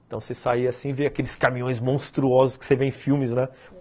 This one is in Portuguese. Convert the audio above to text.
Então você sai assim e vê aqueles caminhões monstruosos que você vê em filmes, né?